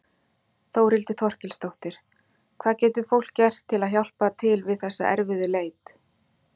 Þórhildur Þorkelsdóttir: Hvað getur fólk gert til að hjálpa til við þessa erfiðu leit?